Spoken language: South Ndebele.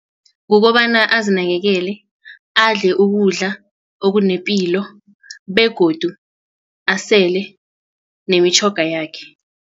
Kukobana azinakekele adle ukudla okunepilo begodu asele nemitjhoga yakhe.